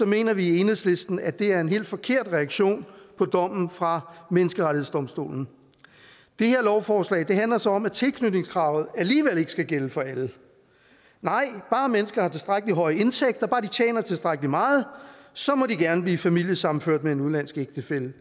mener vi i enhedslisten at det er en helt forkert reaktion på dommen fra menneskerettighedsdomstolen det her lovforslag handler så om at tilknytningskravet alligevel ikke skal gælde for alle nej bare mennesker har tilstrækkelig høje indtægter bare de tjener tilstrækkelig meget så må de gerne blive familiesammenført med en udenlandsk ægtefælle